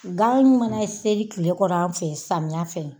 Gan mana seri kile kɔrɔ an fɛ samiya fɛ